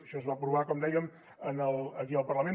això es va aprovar com dèiem aquí en el parlament